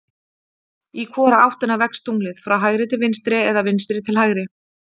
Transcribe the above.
Í hvora áttina vex tunglið, frá hægri til vinstri eða vinstri til hægri?